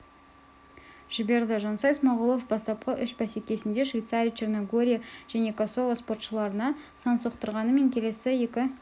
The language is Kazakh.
жіберді жансай смағұлов бастапқы үш бәсекесінде швейцария черногория және косово спортшыларына сан соқтырғанымен келесі екі